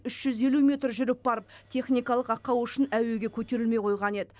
үш жүз елу метр жүріп барып техникалық ақау үшін әуеге көтерілмей қойған еді